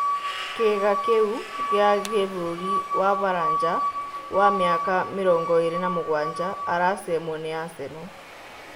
Kĩĩga kĩu gĩa gĩbũrũri wa Baranja wa mĩaka mĩrongoĩrĩ na mũgwanja aracemwo ni Aseno.